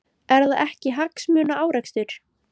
Er það ekki hagsmunaárekstur?